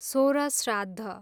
सोह्र श्राद्ध